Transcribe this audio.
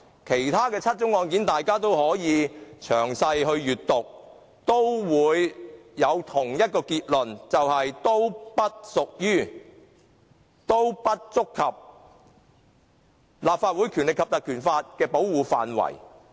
如果大家詳細閱讀其他7宗案件，也會得出同一結論，同意他們都不屬於、不觸及《立法會條例》的保護範圍。